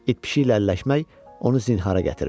İt-pişiklərlə əlləşmək onu zinhara gətirmişdi.